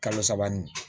Kalo saba nin